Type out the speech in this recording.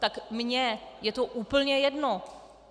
Tak mně je to úplně jedno.